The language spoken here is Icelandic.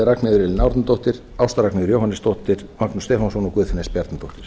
ragnheiður elín árnadóttir ásta ragnheiður jóhannesdóttir magnús stefánsson og guðfinna s bjarnadóttir